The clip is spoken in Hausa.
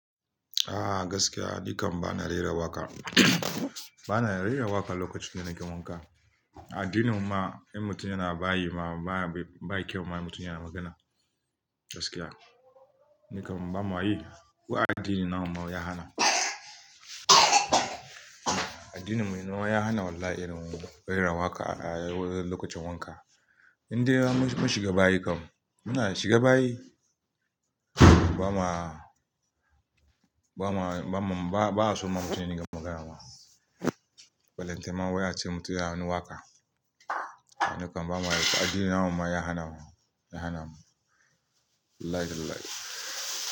Ah gaskiya, nikam ba na rera waƙa. Ba na rera waƙa lokacin da nake wanka. Addinin mu ma in mutum yana bayi ma, ba kyau ma mutum yana magana. Gaskiya, nikan bama yi. Ko addini na mu ma wai ya hana. Addini mu ne ya hana wallahi in rera waƙa a lokacin wanka. Indai mun shiga bayi kam, muna shiga bayi. Ba ma, ba ma, ba, ba'a so ma mutane su yi magana ma. Ballentana wai ace mutum yana waka. Nikan ba mu a yi. Ko addini na mu ma ya hana mu, ya hana mu. Wallahi tallahi.